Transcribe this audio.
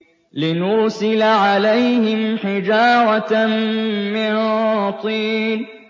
لِنُرْسِلَ عَلَيْهِمْ حِجَارَةً مِّن طِينٍ